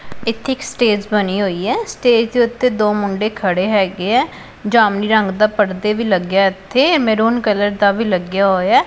ਇੱਥੇ ਇੱਕ ਸਟੇਜ ਬਣੀ ਹੋਈ ਐ ਸਟੇਜ ਦੇ ਉੱਤੇ ਦੋ ਮੁੰਡੇ ਖੜੇ ਹੈਗੇ ਆ ਜਾਮਨੀ ਰੰਗ ਦਾ ਪਰਦੇ ਵੀ ਲੱਗਿਆ ਇਥੇ ਮੈਰੂਨ ਕਲਰ ਦਾ ਵੀ ਲੱਗਿਆ ਹੋਇਆ।